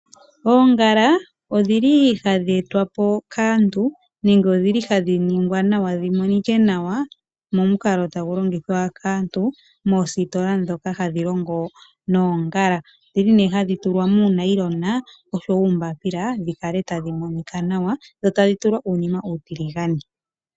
Oongala odhili hadhi etwa po kaantu nenge odhili hadhi ningwa nawa, dhi monike nawa momukalo tagu longithwa kaantu moositola ndhoka hadhi longo noongala. Odhili nee hadhi tulwa muunayilona oshowo uumbaapila dhi kale tadhi monika nawa, dho tadhi tulwa uunima uutiligane.